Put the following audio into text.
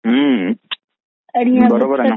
हं, बरोबर आहे ना.